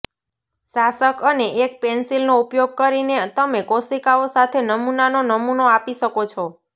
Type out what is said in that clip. શાસક અને એક પેંસિલનો ઉપયોગ કરીને તમે કોશિકાઓ સાથે નમૂનાનો નમૂનો આપી શકો છો